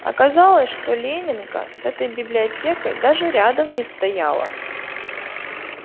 оказалось что ленинка с этой библиотекой даже рядом не стояла